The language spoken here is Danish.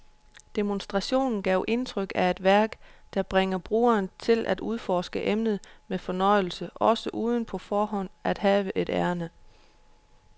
Demonstrationen gav indtryk af et værk, der bringer brugeren til at udforske emnet med fornøjelse også uden på forhånd at have et ærinde.